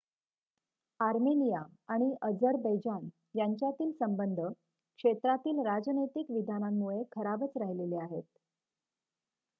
Armenia आणि Azerbaijan यांच्यातील संबध क्षेत्रातील राजनैतिक विधानांमुळे खराबच राहिलेले आहेत